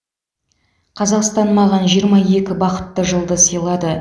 қазақстан маған жиырма екі бақытты жылды сыйлады